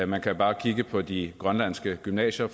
man kan bare kigge på de grønlandske gymnasier